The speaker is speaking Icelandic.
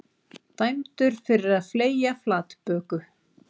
Dæmdur fyrir að fleygja flatböku